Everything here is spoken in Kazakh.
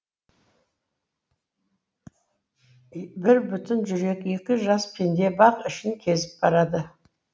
бір бүтін жүрек екі жас пенде бақ ішін кезіп барады